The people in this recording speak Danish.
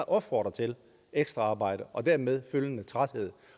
opfordrer til ekstraarbejde og dermed følgende træthed